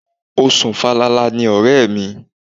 O sùn falala ni ọ̀rẹ́ mi.